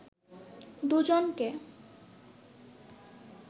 দুজনক